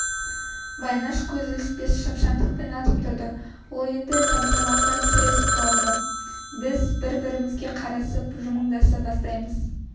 байнаш көз ілеспес шапшаңдықпен атып тұрады ол енді тапжылмастан сіресіп қалады біз бір-бірімізге қарасып жымыңдаса бастаймыз